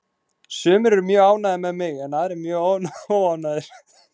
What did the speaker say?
Sumir eru mjög ánægðir með mig en aðrir mjög óánægðir.